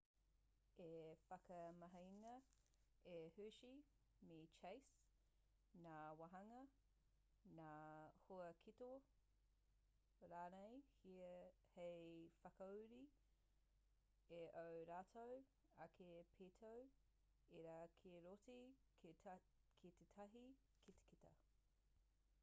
i whakamahingia e hershey me chase ngā wāhanga ngā huaketo rānei hei whakauru i ō rātou ake pītau ira ki roto ki tētahi kitakita